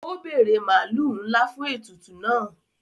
O bere maalu nla fún ètùtù náà.